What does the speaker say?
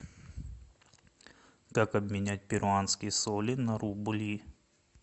как обменять перуанские соли на рубли